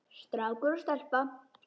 Strákur og stelpa.